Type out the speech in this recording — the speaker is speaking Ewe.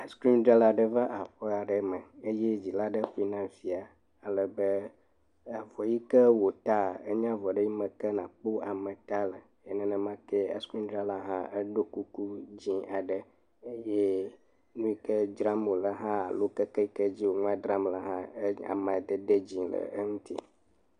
Nudrala aɖe va aƒe aɖe me eye dzila ɖe ƒle na via ale be avɔ yi ke wota enye avɔ ɖe ke me nakpɔ ameta le. Nenemakee enudrala hã eɖo kuku dzi aɖe eye nuyi ke dra wole hã nalo keke yike dzi wo nua dram le hã amadede dzi le eŋuti.